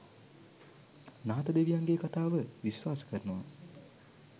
නාථ දෙවියන්ගේ කතාව විස්වාස කරනව.